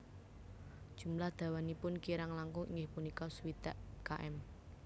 Jumlah dawanipun kirang langkung inggih punika swidak km